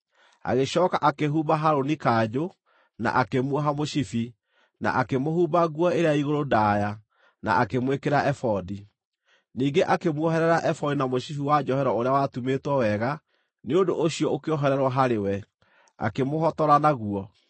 Agĩcooka akĩhumba Harũni kanjũ, na akĩmuoha mũcibi, na akĩmũhumba nguo ĩrĩa ya igũrũ ndaaya, na akĩmwĩkĩra ebodi. Ningĩ akĩmuoherera ebodi na mũcibi wa njohero ũrĩa watumĩtwo wega; nĩ ũndũ ũcio ũkĩohererwo harĩ we, akĩmũhotora naguo.